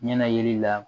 Ɲɛna yeli la